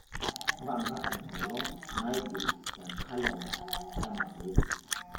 mpanga enkolong naigil te kalenda e mazoezi